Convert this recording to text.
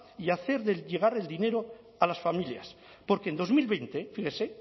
y hacer llegar el dinero a las familias porque en dos mil veinte fíjese